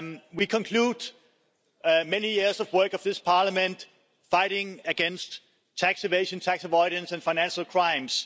We conclude many years of work of this Parliament fighting against tax evasion, tax avoidance and financial crimes.